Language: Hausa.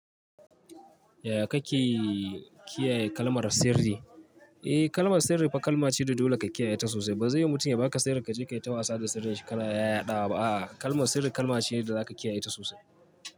Yaya kake kiyaye kalmar sirri? Eh, kalmar sirri fa kalma ce da dole ka kiyaye ta sosai. Ba zaiyu mutum ya baka sirri kaje ka yi ta wasa da sirrin shi ka yaɗa ba. Ah, kalmar sirri kalma ce da zaka kiyaye ta sosai.